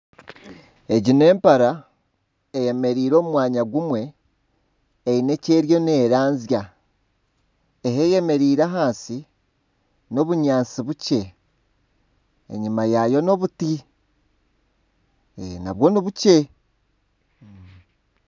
Egi n'empara eyemereire omu mwanya gumwe, eine eki eriyo neeranzya. Ahi eyemereire ahansi n'obunyaatsi bukye, enyima yaayo ni obuti nabwo nibukye.